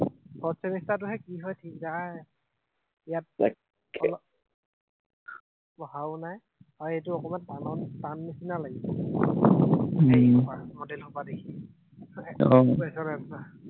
Fourth semester টোহে কি হয় থিক নাই। ইয়াত পঢ়াও নাই, আৰু এইটো অকনমান টান হব, টান নিচিনা লাগিছে উম মডেল সোপা দেখি